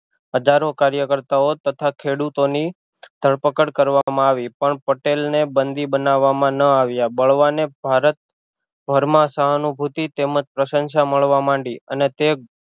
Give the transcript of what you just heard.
હજારો કાર્યકર્તા ઓ તથા ખેડૂતો ની ધરપકડ કરવામાં આવી પણ પટેલ ને બંધી બનાવામાં ન આવ્યા બળવાને ભારતભર માં સહાનુભૂતિ તેમજ પ્રશંશા મળવા માંડી અને તે